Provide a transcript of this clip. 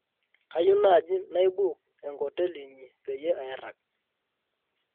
kayieu naaji naibook enkoteli inyi peyie airagg